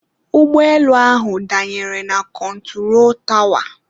ụgbọelu ahụ danyere na kọntụro tawa